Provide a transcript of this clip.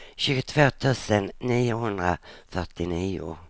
tjugotvå tusen niohundrafyrtionio